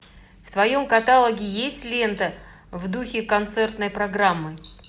в твоем каталоге есть лента в духе концертной программы